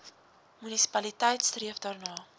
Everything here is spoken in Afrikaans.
munisipaliteit streef daarna